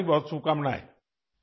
بہت سی نیک خواہشات